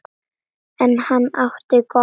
En hann átti gott.